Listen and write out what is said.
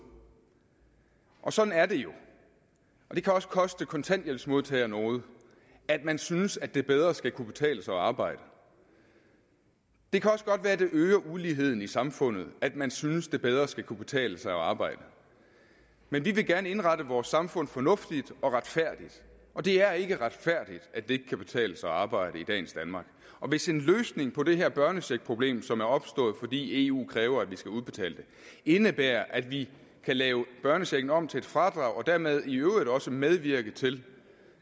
og sådan er det jo det kan også koste kontanthjælpsmodtagere noget at man synes at det bedre skal kunne betale sig at arbejde det kan også godt være at det øger uligheden i samfundet at man synes at det bedre skal kunne betale sig at arbejde men vi vil gerne indrette vores samfund fornuftigt og retfærdigt og det er ikke retfærdigt at det ikke kan betale sig at arbejde i dagens danmark hvis en løsning på det her børnecheckproblem som er opstået fordi eu kræver at vi skal udbetale den indebærer at vi kan lave børnechecken om til et fradrag og dermed i øvrigt også medvirke til